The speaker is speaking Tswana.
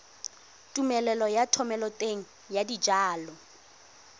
tumelelo ya thomeloteng ya dijalo